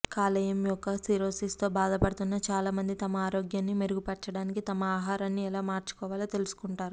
కాలేయం యొక్క సిర్రోసిస్ తో బాధపడుతున్న చాలామంది తమ ఆరోగ్యాన్ని మెరుగుపర్చడానికి తమ ఆహారాన్ని ఎలా మార్చుకోవాలో తెలుసుకుంటారు